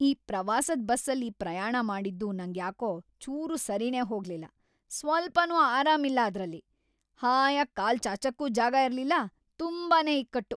ಆ ಪ್ರವಾಸದ್ ಬಸ್ಸಲ್ಲಿ ಪ್ರಯಾಣ ಮಾಡಿದ್ದು ನಂಗ್ಯಾಕೋ ಚೂರೂ ಸರಿನೇ ಹೋಗ್ಲಿಲ್ಲ, ಸ್ವಲ್ಪನೂ ಆರಾಮಿಲ್ಲ ಅದ್ರಲ್ಲಿ, ‌ಹಾಯಾಗ್ ಕಾಲ್‌ ಚಾಚಕ್ಕೂ ಜಾಗ ಇರ್ಲಿಲ್ಲ‌, ತುಂಬಾನೇ ಇಕ್ಕಟ್ಟು.